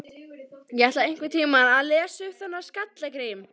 Ég ætla einhvern tíma að lesa um þennan Skalla-Grím.